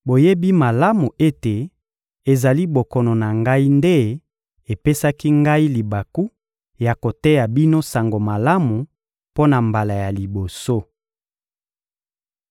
Boyebi malamu ete ezali bokono na ngai nde epesaki ngai libaku ya koteya bino Sango Malamu mpo na mbala ya liboso.